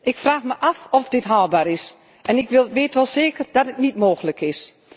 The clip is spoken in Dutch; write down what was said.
Ik vraag me af of dit haalbaar is en ik weet wel zeker dat dit niet mogelijk is.